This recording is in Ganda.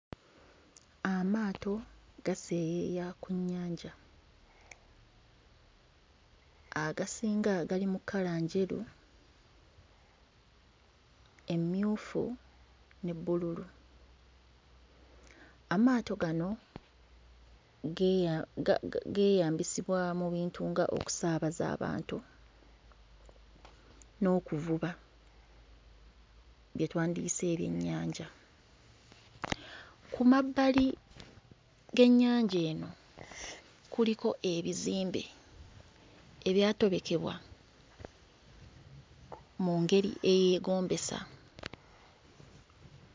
Amaato gaseeyeeya ku nnyanja, agasinga gali mu kkala njeru, emmyufu ne bbululu. Amaato gano geeya... geeyambisibwa mu bintu ng'okusaabaza abantu n'okuvuba bye twandiyise ebyennyanja. Ku mabbali g'ennyanja eno kuliko ebizimbe ebyatobekebwa mu ngeri eyeegombesa.